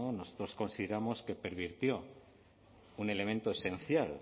no nosotros consideramos que pervirtió un elemento esencial